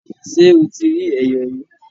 Ṣé o ti rí Ẹ̀yọ̀ rí?